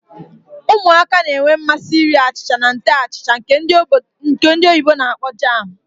Ụmụaka na-enwe mmasị ịrị achịcha na nte achịcha nke ndi oyibo na-akpọ jam.